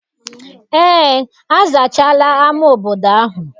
Eé, azachaala ama obodo ahụ.